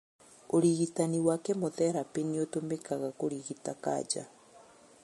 ũrigitani wa kemotherapĩ nĩũtũmĩkaga kũrigita kanja